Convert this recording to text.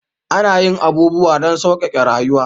Ana yin abubuwa don sauƙaƙe rayuwa